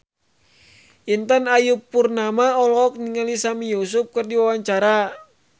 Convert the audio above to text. Intan Ayu Purnama olohok ningali Sami Yusuf keur diwawancara